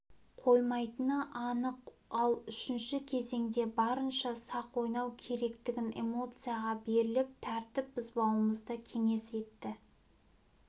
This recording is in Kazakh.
қоймайтыны анық ал үшінші кезеңде барынша сақ ойнау керектігін эмоцияға беріліп тәртіп бұзбауымызды кеңес етті